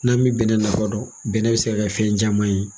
N'an bi bɛnnɛ nafa dɔn bɛnnɛ bi se ka kɛ fɛn caman ye.